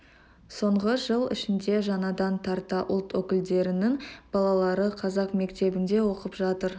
соңғы жыл ішінде жаңадан тарта ұлт өкілдерінің балалары қазақ мектебінде оқып жатыр